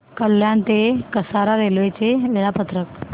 कल्याण ते कसारा रेल्वे चे वेळापत्रक